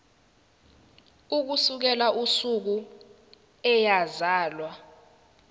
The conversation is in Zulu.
ukusukela usuku eyazalwa